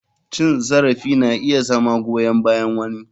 Cin zarafi na iya zama goyan bayan wani.